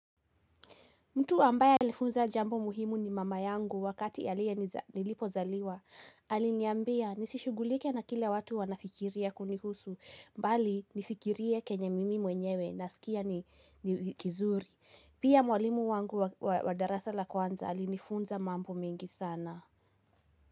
Mtu ambaye alifunza jambo muhimu ni mama yangu wakati nilipozaliwa. Aliniambia nisishughulike na kila watu wanafikiria kunihusu. Mbali nifikirie kenya mimi mwenyewe nasikia ni kizuri. Pia mwalimu wangu wa darasa la kwanza alinifunza mambo mengi sana.